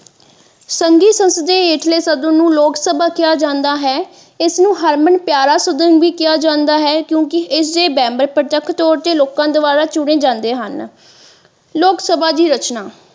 ਜਿਸਦੇ ਹੇਠਲੇ ਸਦਨ ਨੂੰ ਲੋਕਸਭਾ ਕਿਹਾ ਜਾਂਦਾ ਹੈ ਇਸ ਨੂੰ ਹਰਮਨ ਪਿਆਰਾ ਸਦਨ ਵੀ ਕਿਹਾ ਜਾਂਦਾ ਹੈ ਕਿਉਂਕਿ ਇਸ ਦੇ ਮੇਂਬਰ ਪ੍ਰਤੱਖ ਤੋਰ ਤੇ ਲੋਕਾਂ ਦੁਆਰਾ ਚੁਣੇ ਜਾਂਦੇ ਹਨ ਲੋਕਸਭਾ ਦੀ ਰਚਨਾ।